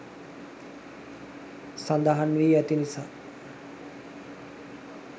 සඳහන් වී ඇති නිසා